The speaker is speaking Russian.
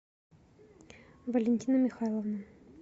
валентина михайловна